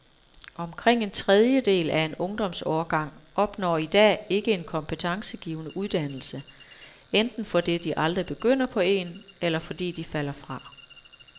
Omkring en tredjedel af en ungdomsårgang opnår i dag ikke en kompetencegivende uddannelse, enten fordi de aldrig begynder på en, eller fordi de falder fra.